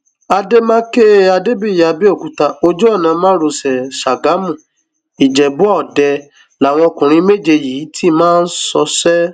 àdèmàkè adébíyí àbẹòkúta ojú ọnà márosẹ ṣàgámù ìjẹbú-ọdẹ làwọn ọkùnrin méje yìí ti máa ń ṣọṣẹ